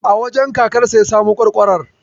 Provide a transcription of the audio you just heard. A wajen kakansa ya samo ƙwarƙwarar.